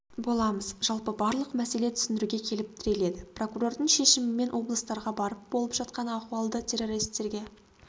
боламыз жалпы барлық мәселе түсіндіруге келіп тіреледі прокурордың шешімімен облыстарға барып болып жатқан ахуалды террористерге